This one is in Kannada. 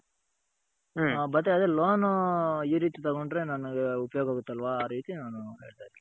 ಮತ್ತೆ loan ಈ ರೀತಿ ತಗೊಂಡ್ರೆ ನನಗೆ ಉಪಯೋಗ ಆಗುತೆ ಅಲ್ವ